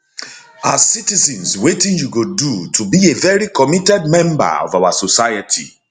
as citizens wetin you go do to be a very committed member of our society